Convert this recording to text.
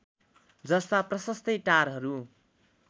जस्ता प्रशस्तै टारहरू